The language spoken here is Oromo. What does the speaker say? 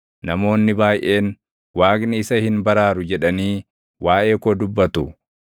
Namoonni baayʼeen, “Waaqni isa hin baraaru” jedhanii waaʼee koo dubbatu.